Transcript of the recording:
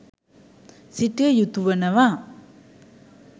සිටිය යුතු වනවා.